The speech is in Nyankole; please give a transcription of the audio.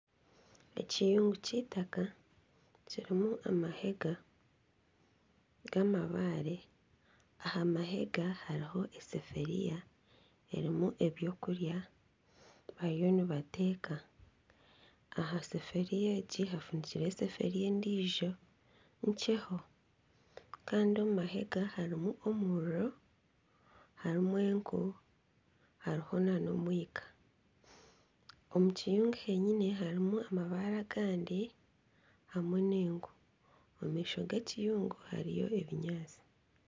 Ekiyungu kyeitaka kirimu amahega g'amabare. Aha mahega hariho esefuriya erimu ebyokurya bariyo nibateeka. Aha sefuriya egi hafundikireho esefuriya endiijo nkyeho. Kandi omu mahega harimu omuriro, hariho enku, hariho n'omwika. Omu kiyungu kyenyine harimu amabaare agandi hamwe n'enku. Omu maisho g'ekiyungu hariyo n'ebinyaatsi.